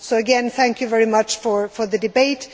So, again, thank you very much for the debate.